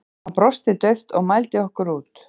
Hann brosti dauft og mældi okkur út.